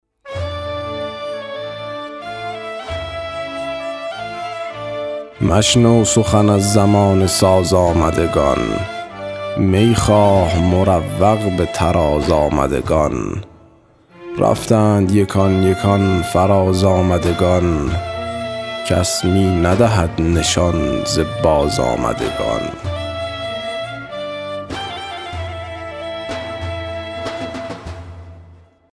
مشنو سخن از زمانه ساز آمدگان می خواه مروق به طراز آمدگان رفتند یکان یکان فراز آمدگان کس می ندهد نشان ز بازآمدگان